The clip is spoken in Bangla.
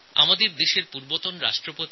আমাদের দেশের প্রাক্তণ রাষ্ট্রপতি